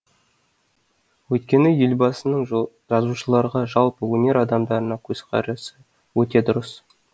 өйткені елбасының жазушыларға жалпы өнер адамдарына көзқарасы өте дұрыс